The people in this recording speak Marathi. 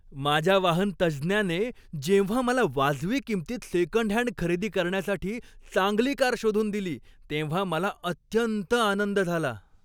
माझ्या वाहन तज्ज्ञाने जेव्हा मला वाजवी किंमतीत सेकंडहँड खरेदी करण्यासाठी चांगली कार शोधून दिली तेव्हा मला अत्यंत आनंद झाला.